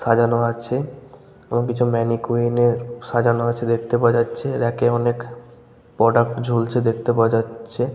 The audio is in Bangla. সাজানো আছে এবং কিছু ম্যানিকুইন এর সাজানো আছে দেখতে পাওয়া যাচ্ছে। র‍্যাক এ অনেক প্রোডাক্ট ঝুলছে যাচ্ছে দেখতে পাওয়া যাচ্ছে।